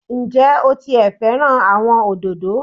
Ǹ jé o ti è fẹ́ràn àwọn òdòdó